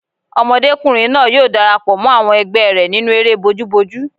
Ọmọdékùnrin náà yóò darapọ̀ mọ́ àwọn ẹgbẹ́ rẹ̀ nínú eré bojúbojú